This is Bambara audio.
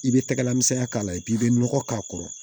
I bɛ tɛgɛla misɛnya k'a la i b'i nɔgɔ k'a kɔrɔ